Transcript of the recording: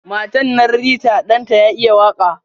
Matan nan Rita Dan ta ya iya waka.